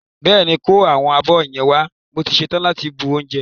Bẹ́ẹ̀ ni, kó àwọn abọ́ yẹn wá mo ti ṣe tán láti bu oúnjẹ.